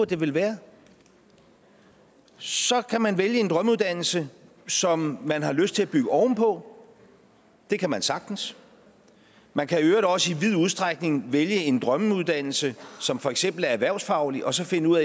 det vel være så kan man vælge en drømmeuddannelse som man har lyst til at bygge ovenpå det kan man sagtens man kan i øvrigt også i vid udstrækning vælge en drømmeuddannelse som for eksempel er erhvervsfaglig og så finde ud